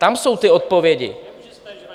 Tam jsou ty odpovědi.